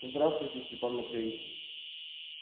здравствуйте степан матвеич